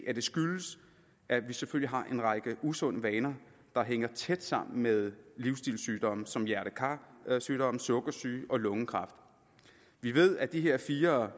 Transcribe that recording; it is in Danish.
at det skyldes at vi selvfølgelig har en række usunde vaner der hænger tæt sammen med livsstilssygdomme som hjerte kar sygdomme sukkersyge og lungekræft vi ved at de her fire